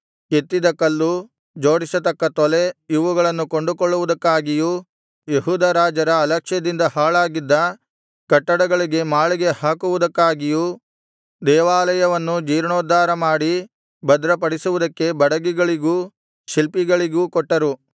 ಕೆತ್ತಿದ ಕಲ್ಲು ಜೋಡಿಸತಕ್ಕ ತೊಲೆ ಇವುಗಳನ್ನು ಕೊಂಡುಕೊಳ್ಳುವುದಕ್ಕಾಗಿಯೂ ಯೆಹೂದ ರಾಜರ ಅಲಕ್ಷ್ಯದಿಂದ ಹಾಳಾಗಿದ್ದ ಕಟ್ಟಡಗಳಿಗೆ ಮಾಳಿಗೆ ಹಾಕುವುದಕ್ಕಾಗಿಯೂ ದೇವಾಲಯವನ್ನೂ ಜೀರ್ಣೋದ್ಧಾರಮಾಡಿ ಭದ್ರಪಡಿಸುವುದಕ್ಕೆ ಬಡಗಿಗಳಿಗೂ ಶಿಲ್ಪಿಗಳಿಗೂ ಕೊಟ್ಟರು